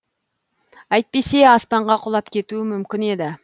әйтпесе аспанға құлап кетуі мүмкін еді